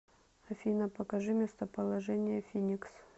афина покажи местоположение финикс